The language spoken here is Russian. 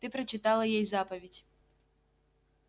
та прочитала ей заповедь